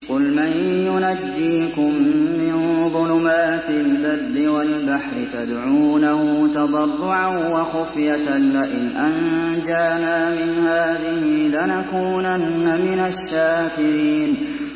قُلْ مَن يُنَجِّيكُم مِّن ظُلُمَاتِ الْبَرِّ وَالْبَحْرِ تَدْعُونَهُ تَضَرُّعًا وَخُفْيَةً لَّئِنْ أَنجَانَا مِنْ هَٰذِهِ لَنَكُونَنَّ مِنَ الشَّاكِرِينَ